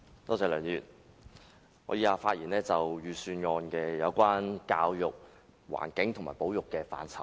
我以下會就財政預算案有關教育、環境及保育的範疇發言。